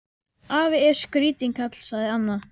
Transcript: Afi er skrítinn kall sagði Anna.